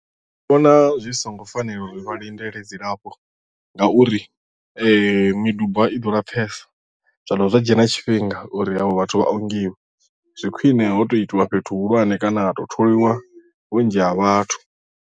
Nṋe ndi vhona zwi songo fanela uri vha lindele dzilafho ngauri miduba i ḓo lapfesa zwa dovha zwa dzhia na tshifhinga uri havho vhathu vha ongiwe zwi khwine ho tou itiwa fhethu hu hulwane kana ha tou tholiwa vhunzhi ha vhathu.